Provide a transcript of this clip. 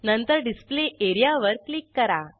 नंतर डिस्प्ले एरियावर क्लिक करा